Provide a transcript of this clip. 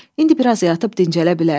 İndi biraz yatıb dincələ bilərəm.